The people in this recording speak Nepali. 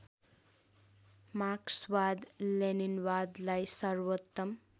मार्क्सवाद लेनिनवादलाई सर्वोत्तम